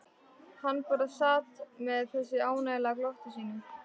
Hann bara sat með þessu ánalega glotti sínu.